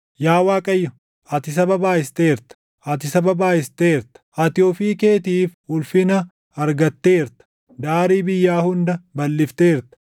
Yaa Waaqayyo, ati saba baayʼisteerta; ati saba baayʼisteerta; ati ofii keetiif ulfina argatteerta; daarii biyyaa hunda balʼifteerta.